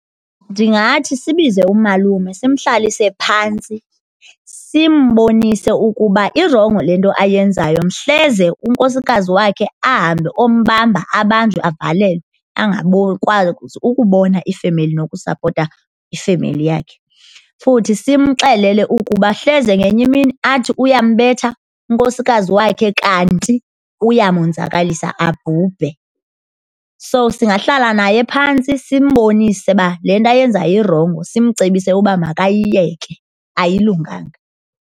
Ndingathi sibize umalume simhlalise phantsi simbonise ukuba irongo le nto ayenzayo mhleze unkosikazi wakhe ahambe ombamba abanjwe avalelwe angakwazi ukubona ifemeli nokusapota ifemeli yakhe. Futhi simxelele ukuba hleze ngenye imini athi uyambetha unkosikazi wakhe kanti uyamonzakalisa abhubhe. So, singahlala naye phantsi simbonise uba le nto ayenzayo irongo simcebise uba makayiyeke ayilunganga.